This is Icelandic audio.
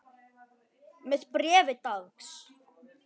Með bréfi dags.